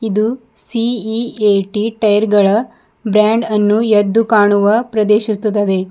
ದು C E A T tyre ಗಳ brand ಅನ್ನು ಎದ್ದು ಕಾಣುವ ಪ್ರದೇಶಿಸುತ್ತದೆ.